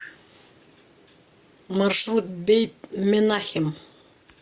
маршрут бейт менахем